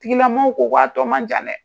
Tigilamaw ko a tɔ man jan dɛ.